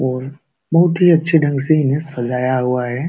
और बोहोत ही अच्छे ढंग से इन्हें सजाया हुआ है।